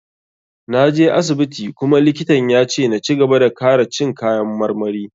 Na je asibiti kuma likitan ya ce na cigaba da kara cin kayan marmari.